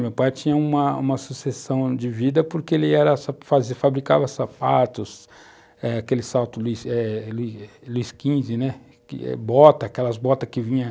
Meu pai tinha uma uma sucessão de vida porque ele era, fabricava sapatos, eh, aquele salto né, botas, aquelas botas que vinha...